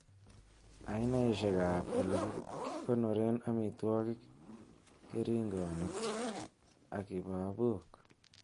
Ainaisiek ab ele kikonoren amitwogik, keringonik ak kibabok.